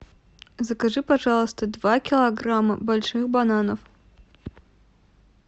закажи пожалуйста два килограмма больших бананов